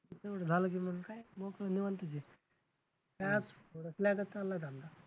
तिथनं पुढं झालं की मग काय लोकं निवांतच आहे